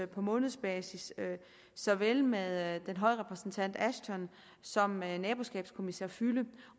på månedsbasis såvel med den høje repræsentant ashton som med naboskabskommissær füle